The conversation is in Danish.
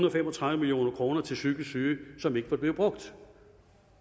og fem og tredive million kroner til psykisk syge som ikke var blevet brugt